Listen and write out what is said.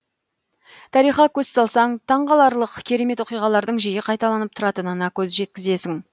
тарихқа көз салсаң таңғаларлық керемет оқиғалардың жиі қайталанып тұратынына көз жеткізесің